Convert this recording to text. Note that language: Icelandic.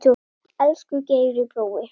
Elsku Geiri brói.